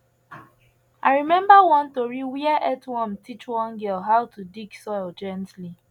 i remember one tori where earthworm teach one girl how to dig soil gently